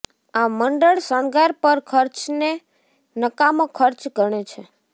આ મંડળ શણગાર પર ખર્ચને નકામો ખર્ચ ગણે છે